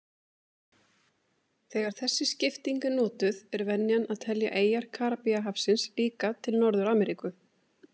Þegar þessi skipting er notuð er venjan að telja eyjar Karíbahafsins líka til Norður-Ameríku.